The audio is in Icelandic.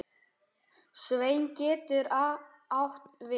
Sveinn getur átt við